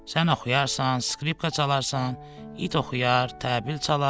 Sən oxuyarsan, skripka çalarsan, it oxuyar, təbil çalar.